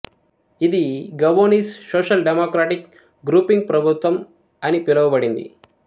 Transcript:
ఇది Gabonese social democratic grouping ప్రభుత్వం అని పిలవబడింది